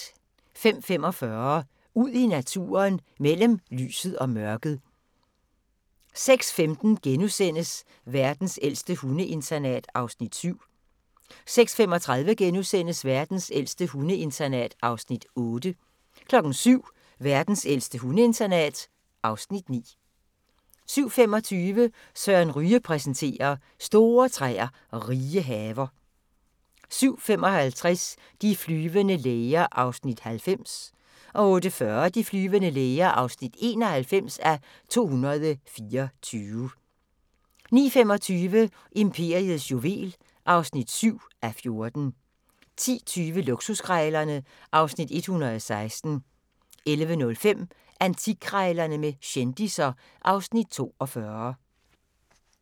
05:45: Ud i naturen: Mellem lyset og mørket 06:15: Verdens ældste hundeinternat (Afs. 7)* 06:35: Verdens ældste hundeinternat (Afs. 8)* 07:00: Verdens ældste hundeinternat (Afs. 9) 07:25: Søren Ryge præsenterer: Store træer og rige haver 07:55: De flyvende læger (90:224) 08:40: De flyvende læger (91:224) 09:25: Imperiets juvel (7:14) 10:20: Luksuskrejlerne (Afs. 116) 11:05: Antikkrejlerne med kendisser (Afs. 42)